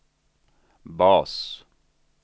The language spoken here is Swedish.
bas